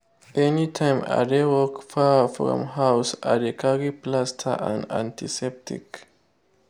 anytime i dey work far from house i dey carry plaster and antiseptic.